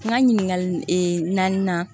N ka ɲininkali ee naaninan